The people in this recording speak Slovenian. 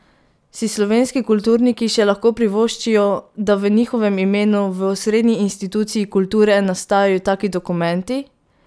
Si slovenski kulturniki še lahko privoščijo, da v njihovem imenu v osrednji instituciji kulture nastajajo taki dokumenti?